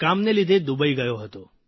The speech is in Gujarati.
કામને લીધે દુબઇ ગયો હતો